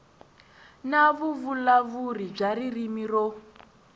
na vuvulavuri bya ririmi ro